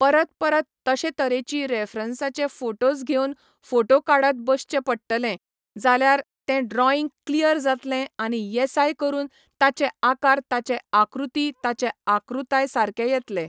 परत परत तशे तरेची रेफ्रंसाचे फोटोज घेवन फोटो काडत बसचे पडटलें, जाल्यार तें ड्रॉइंग क्लियर जातलें आनी येसाय करून ताचे आकार ताचे आकृती ताचे आकृताय सारके येतलें.